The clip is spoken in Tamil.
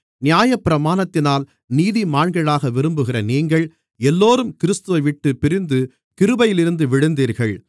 நியாயப்பிரமாணத்தினால் நீதிமான்களாக விரும்புகிற நீங்கள் எல்லோரும் கிறிஸ்துவைவிட்டுப் பிரிந்து கிருபையிலிருந்து விழுந்தீர்கள்